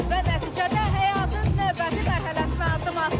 Və nəticədə həyatın növbəti mərhələsinə addım atdı.